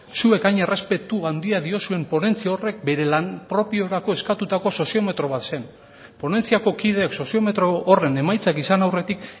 zuek hain errespetu handia diozuen ponentzia horrek bere lan propiorako eskatutako soziometro bat zen ponentziako kideek soziometro horren emaitzak izan aurretik